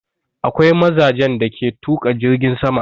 Akwai mazajen da ke tuƙa jirgin sama.